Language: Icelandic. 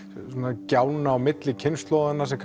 gjána milli kynslóðanna sem